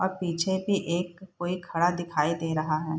और पीछे भी एक कोई खड़ा दिखाई दे रहा है।